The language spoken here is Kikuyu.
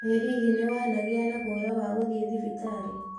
Ĩ hihi nĩwanagĩa na guoya wa gũthiĩ thibitarĩ?